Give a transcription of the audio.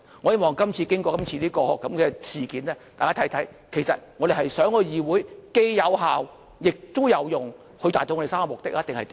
我希望經過今次事件，大家看看，其實我們是想議會既有效，也有用，以達到我們3個目的，還是怎樣？